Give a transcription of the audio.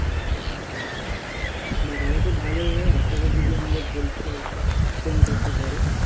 বাহ তাহলে তো ভালোই হয় একসাথে যদি আমাদের পরীক্ষায় center টা পরে